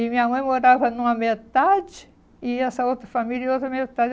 E minha mãe morava numa metade e essa outra família em outra metade.